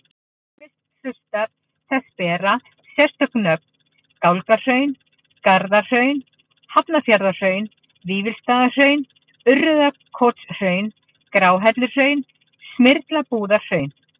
Ýmsir hlutar þess bera sérstök nöfn, Gálgahraun, Garðahraun, Hafnarfjarðarhraun, Vífilsstaðahraun, Urriðakotshraun, Gráhelluhraun, Smyrlabúðarhraun.